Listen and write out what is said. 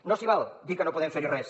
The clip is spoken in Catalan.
no s’hi val a dir que no podem fer hi res